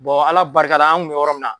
Ala barika la an kun be yɔrɔ min na